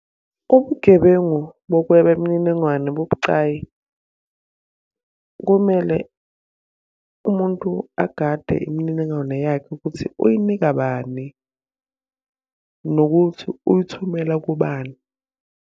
Ubugebengu bokweba imininingwane bubucayi. Kumele umuntu agade imininingwane yakhe ukuthi uyinika bani, nokuthi uyithumela kubani,